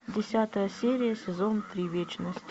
десятая серия сезон три вечность